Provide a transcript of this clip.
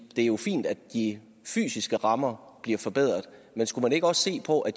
jo fint at de fysiske rammer bliver forbedret men skulle man ikke også se på at